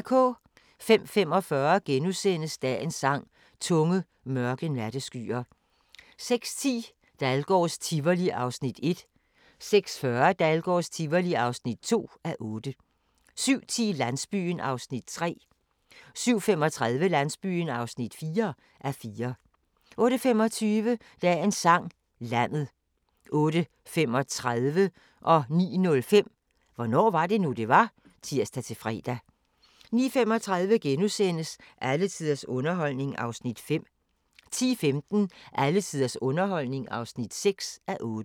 05:45: Dagens Sang: Tunge, mørke natteskyer * 06:10: Dahlgårds Tivoli (1:8) 06:40: Dahlgårds Tivoli (2:8) 07:10: Landsbyen (3:44) 07:35: Landsbyen (4:44) 08:25: Dagens Sang: Landet 08:35: Hvornår var det nu, det var? *(tir-fre) 09:05: Hvornår var det nu, det var? *(tir-fre) 09:35: Alle tiders underholdning (5:8)* 10:15: Alle tiders underholdning (6:8)